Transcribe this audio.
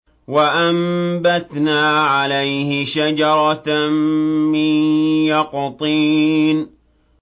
وَأَنبَتْنَا عَلَيْهِ شَجَرَةً مِّن يَقْطِينٍ